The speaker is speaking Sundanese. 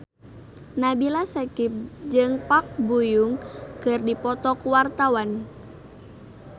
Nabila Syakieb jeung Park Bo Yung keur dipoto ku wartawan